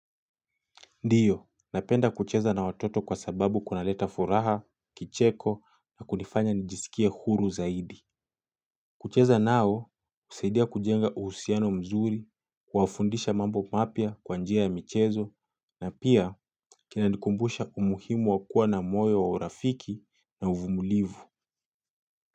Ndiyo, napenda kucheza na watoto kwa sababu kuna leta furaha, kicheko na kunifanya nijisikie huru zaidi. Kucheza nao, husaidia kujenga uhusiano mzuri, kuwafundisha mambo mapya kwanjia ya michezo, na pia kinanikumbusha umuhimu wakua na moyo wa urafiki na uvumulivu.